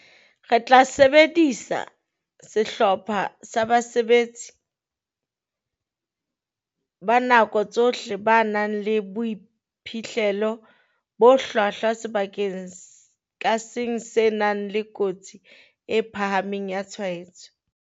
"Re tla sebedisa sehlopha sa basebetsi ba nako tsohle ba nang le boiphihlelo bo hlwahlwa sebakeng ka seng se nang le kotsi e phahameng ya tshwaetso."